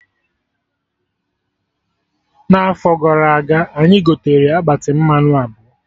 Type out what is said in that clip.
Na afọ gara aga, anyị gotere akpati mmanụ abụọ